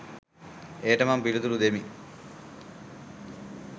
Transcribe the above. එයට මම පිලිතුරු දෙමි